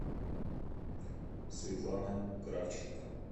светлана кравченко